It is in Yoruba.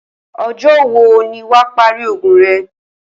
O̩jó̩ wo ni wà á parí ògùn re̩?